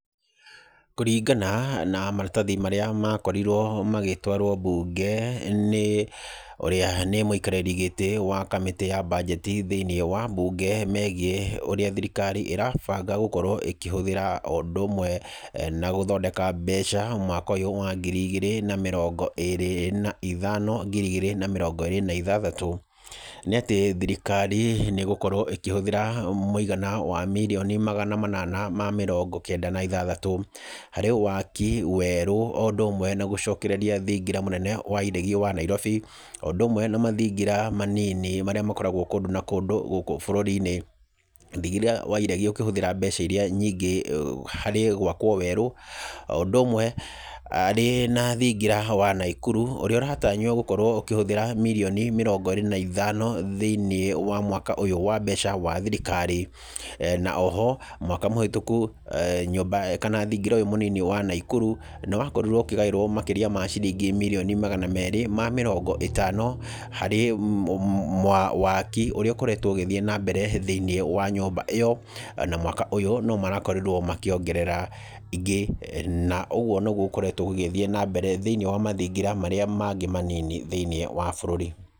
Kũringana na maratathi marĩa makorirwo magĩtwaro mbunge nĩ ũrĩa nĩ mũikarĩri gĩtĩ wa mbajeti thĩini wa mbunge megiĩ ũrĩa thirikari ĩrabanga gũkorwo ĩkĩhũthĩra ũndũ ũmwe na gũthondeka mbeca mwaka ũyũ wa ngiri igĩrĩ na mĩrongo ĩrĩ na ithano - ngiri igĩrĩ na mĩrongo ĩrĩ na ithathatũ, nĩ atĩ thirikari nĩ ĩgũkorwo ĩkĩhũthĩra mũigana wa mirioni magana manana ma mĩrongo kenda na ithathatũ harĩ waki werũ o ũndũ ũmwe na gũcokereria thingira mũnene wa iregi wa Nairobi, o ũndũ ũmwe na mathingira manini marĩa makoragwo kũndũ na kũndũ gũkũ bũrũri-inĩ. Thingira wa iregi ũkĩhũthĩra mbeca iria nyingĩ harĩ gwakwo werũ, o ũndũ ũmwe arĩ na thingira wa Naikuru ũrĩa ũratanywo gũkorwo ũkĩhũthĩra mirioni mĩrongo ĩrĩ na ithano thĩinĩ wa mwaka ũyũ wa mbeca wa thirikari, na o ho, mwaka mũhetũku, nyũmba kana thingira ũyũ munini wa Naikuru nĩwakorirwo ũkĩgaĩrwo makĩria ma ciringi mirioni magana meerĩ ma mĩrongo ĩtano harĩ waki ũrĩa ũkoretwo ũgĩthiĩ na mbere thĩinĩ wa nyũmba ĩyo na mwaka ũyũ no marakorirwo makĩongerera ingĩ na ũguo nĩguo gũkoretwo gũgĩthiĩ na mbere thĩinĩ wa mathingira marĩa mangĩ manini thĩinĩ wa burũri.